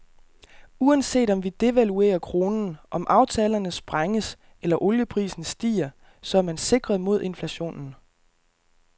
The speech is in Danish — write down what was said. Uanset om vi devaluerer kronen, om aftalerne sprænges, eller olieprisen stiger, så er man sikret mod inflationen.